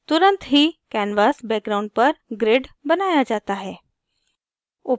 तुरंत ही canvas background पर grid बनाया जाता है